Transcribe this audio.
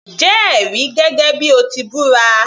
Jẹ́ ẹ̀rí gẹ́gẹ́ bíi o ti búra